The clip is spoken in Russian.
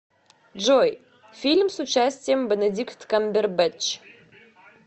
джой фильм с участием бенедикт камбербэтч